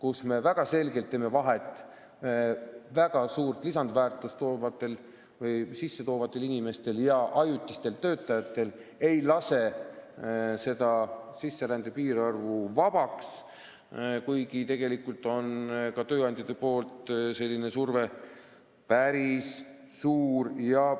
Me teeme väga selgelt vahet suurt lisandväärtust loovatel inimestel ja ajutistel töötajatel ega lase sisserände piirarvu vabaks, kuigi tegelikult on ka tööandjate selline surve päris suur.